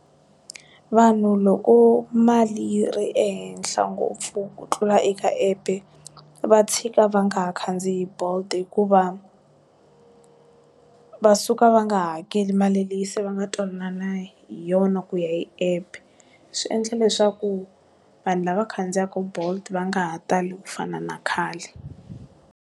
Vanhu loko mali yi ri ehenhla ngopfu ku tlula eka app-e va tshika va nga ha khandziyi bolt hikuva va suka va nga hakeli mali leyi se va nga twanana hi yona ku ya hi app swi endla leswaku vanhu lava khandziyaka bolt va nga ha tali ku fana na khale.